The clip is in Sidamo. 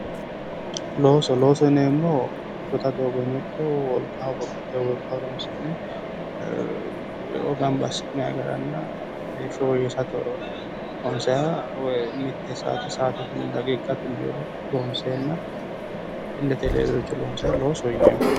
Looso, loosoho yineemohu shota doogoyinno ikko wolqa babbaxitoyoo walqa horonsi'ne e'o ganba asi'nayi garanna heeshsho woyeesirate loonsayiha woy mitte sa'aate sa'aatetenni woyi daqiiqate mereero loonseenna illette leelare loonayiha loosoho yineemo.